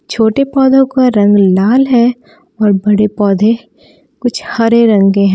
छोटी पौधों का रंग लाल है और बड़े पौधों कुछ हरे रंग के हैं।